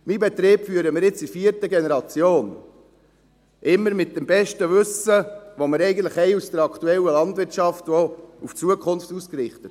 Meinen Betrieb führen wir jetzt in der vierten Generation, immer nach dem besten Wissen, das wir eigentlich aus der aktuellen Landwirtschaft haben, auch auf die Zukunft ausgerichtet.